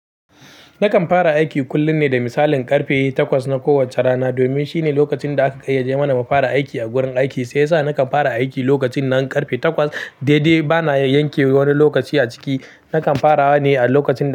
Nakan fara aiki kullun ne da misalin karfe takwas na kowacce rana domin shine lokacin da aka ƙayyade mana mu fara aiki a gurin aiki. Sai yasa nakan fara aiki lokacin nan karfe takwas daidai bana yanke wani lokaci a ciki. Nakan farawa ne a lokacin da.